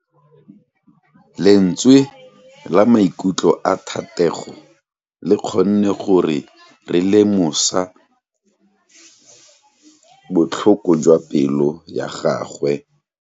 Lentswe la maikutlo a Thatego le kgonne gore re lemosa botlhoko jwa pelo ya gagwe.